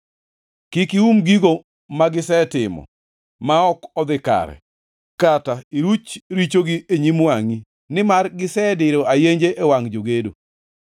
Kik ium gigo magisetimo ma ok odhi kare kata iruch richogi e nyim wangʼi, nimar gisediro ayenje e wangʼ jogedo.